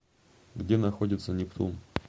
где находится нептун